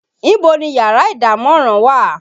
Ibo ni yàrá ìdámọ̀ràn wà?